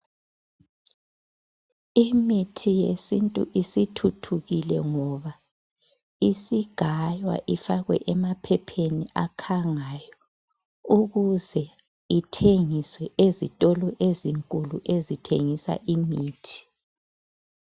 Imithi yesintu isithuthukile ngoba isigaywa ifakwe emaphepheni akhangayo ukuze ithengiswe ezitolo ezinkulu ezithengisa imithi.